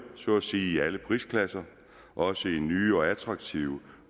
så at sige alle prisklasser også i nye og attraktive